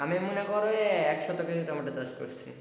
আমি মনে করো ওই একসাথে টমেটো চাষ করছি।